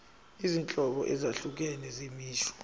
izinhlobo ezahlukene zemisho